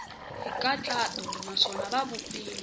hi nkhaqato naswona ya vupfile